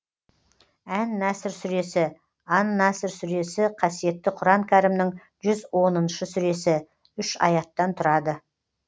ән наср сүресі ан наср сүресі қасиетті құран кәрімнің жүз оныншы сүресі үш аяттан тұрады